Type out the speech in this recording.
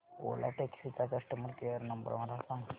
ओला taxi चा customer care number मला सांग